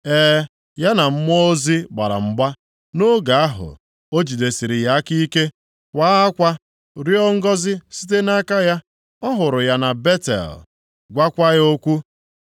E, ya na mmụọ ozi gbara mgba. Nʼoge ahụ, o jidesiri ya aka ike, kwaa akwa, rịọọ ngọzị site nʼaka ya. Ọ hụrụ ya na Betel, gwaakwa ya okwu,